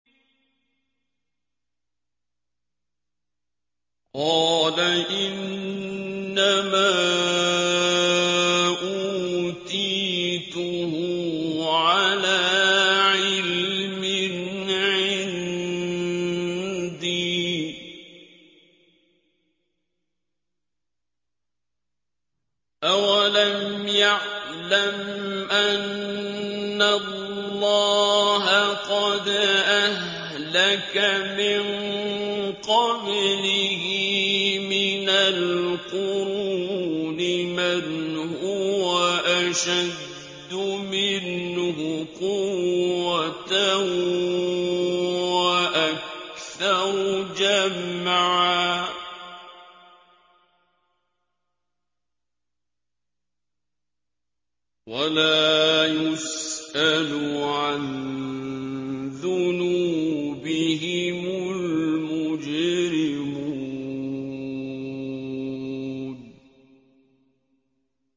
قَالَ إِنَّمَا أُوتِيتُهُ عَلَىٰ عِلْمٍ عِندِي ۚ أَوَلَمْ يَعْلَمْ أَنَّ اللَّهَ قَدْ أَهْلَكَ مِن قَبْلِهِ مِنَ الْقُرُونِ مَنْ هُوَ أَشَدُّ مِنْهُ قُوَّةً وَأَكْثَرُ جَمْعًا ۚ وَلَا يُسْأَلُ عَن ذُنُوبِهِمُ الْمُجْرِمُونَ